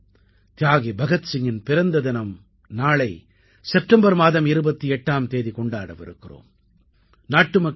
ஆம் தியாகி பகத்சிங்கின் பிறந்த தினம் நாளை செப்டெம்பர் மாதம் 28ஆம் தேதி கொண்டாட விருக்கிறோம்